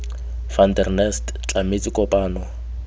van der nest tlametse kopano